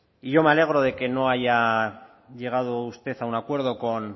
y yo me alegro de que no haya llegado usted a un acuerdo con